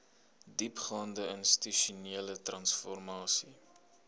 diepgaande institusionele transformasie